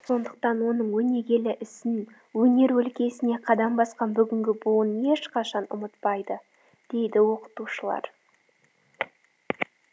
сондықтан оның өнегелі ісін өнер өлкесіне қадам басқан бүгінгі буын ешқашан ұмытпайды дейді оқытушылар